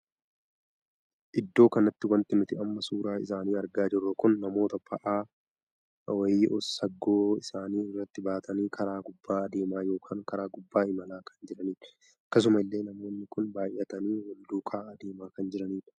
Iddoo kanatti wanti nuti amma suuraa isaanii argaa jirru kun namoota baa'aa wayii saggoo isaanii irratti baatanii karaa gubbaa adeemaa ykn karaa gubbaa imalaa kan jiranidha. akkasuma illee namoonni kun baay'atanii Wal duukaa adeemaa kan jiranidha.